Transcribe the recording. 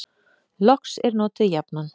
Loks er notuð jafnan: